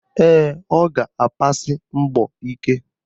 Ee, ọ ga-abasi mbọ ike